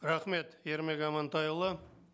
рахмет ермек амантайұлы